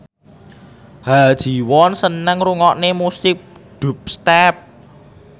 Ha Ji Won seneng ngrungokne musik dubstep